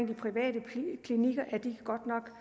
de private klinikker godt nok